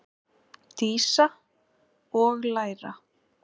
Dísa: Og læra.